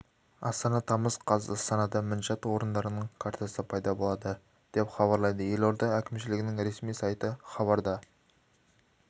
астана тамыз қаз астанада мінжат орындарының картасы пайда болады деп хабарлады елорда әкімшілігінің ресми сайты хабарда